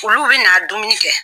Olu bɛ na dumuni kɛ.